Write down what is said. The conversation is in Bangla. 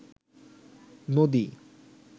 নদী